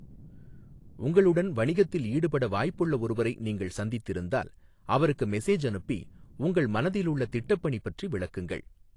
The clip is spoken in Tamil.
உங்களுடன் வணிகத்தில் ஈடுபட வாய்ப்புள்ள ஒருவரை நீங்கள் சந்தித்திருந்தால், அவருக்கு மெசேஜ் அனுப்பி உங்கள் மனதிலுள்ள திட்டப்பணி பற்றி விளக்குங்கள்.